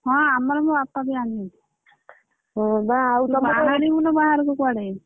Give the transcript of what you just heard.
ହଁ ଆମର ବି ବାହାରିବୁନୁ ବାହାରକୁ କୁଆଡେ!